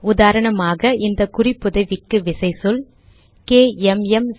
உதாரணமாக இந்த குறிப்புதவிக்கு விசைச்சொல் கேஎம்எம்07